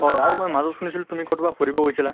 হয়। আৰু মই মাজত শুনিছিলো তুমি কʼত বা ফুৰিব গৈছিলা?